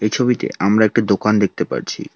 ছবিতে আমরা একটি দোকান দেখতে পারছি।